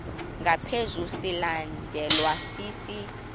ngaphezu silandelwa sisi